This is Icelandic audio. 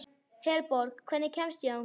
Herborg, hvernig kemst ég þangað?